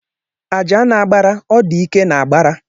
Aja n'agbara, o dike na-agbara.